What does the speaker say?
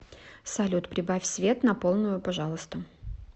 салют прибавь свет на полную пожалуйста